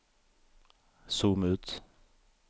zoom ut